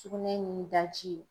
Sugunɛ ni daji.